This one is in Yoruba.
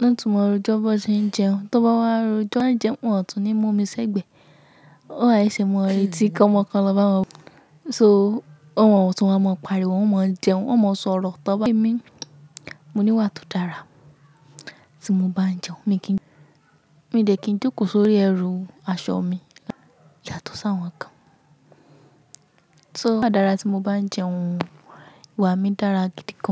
wọ́n tún maa rò jọ, bó ṣe ń jẹun. Tóbá wá rò jọ ń jẹun, wọ́n tún ní mú omi sẹ́gbẹ̀ẹ́. Wọn wá e ṣì máa rètí kọmọ kan lọ bá wọn? So wọ́n mo tún wa mọ parí wo, wọ́n mo ń jẹun, wọ́n mo sọ̀rọ̀ tọ́ba. N, mo níwà tó dára tí mo bá ń jẹun. Mi kì n, mi dè kì n jókòó sórí ẹrù aṣọ mi yàtọ̀ sí àwọn kan. So níwà dára tí mo bá ń jẹun wà mí dára gidi gan.